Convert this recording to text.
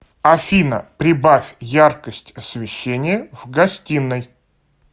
афина прибавь яркость освещения в гостиной